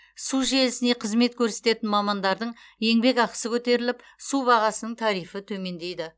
су желісіне қызмет көрсететін мамандардың еңбекақысы көтеріліп су бағасының тарифі төмендейді